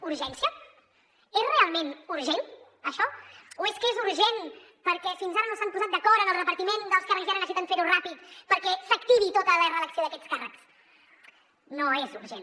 urgència és realment urgent això o és que és urgent perquè fins ara no s’han posat d’acord en el repartiment dels càrrecs i ara necessiten ferho ràpid perquè s’activi tota la reelecció d’aquests càrrecs no és urgent